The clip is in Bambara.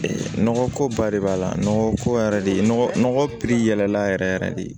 Nɔgɔ ko ba de b'a la nɔgɔ ko yɛrɛ de nɔgɔ yɛlɛla yɛrɛ yɛrɛ de